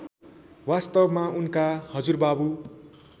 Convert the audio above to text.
वास्तवमा उनका हजुरबाबु